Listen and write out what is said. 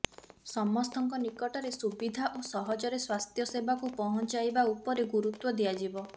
ସମସ୍ତଙ୍କ ନିକଟରେ ସୁବିଧା ଓ ସହଜରେ ସ୍ୱାସ୍ଥ୍ୟ ସେବାକୁ ପହଞ୍ଚାଇବା ଉପରେ ଗୁରୁତ୍ୱ ଦିଆଯିବ